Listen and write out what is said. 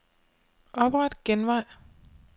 Opret genvej.